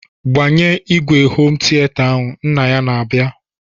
"Gbanye ìgwè homu tiata ahụ!" Nna ya na-aba.